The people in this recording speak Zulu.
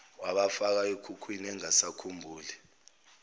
wabafaka ekhukhwini engasakhumbuli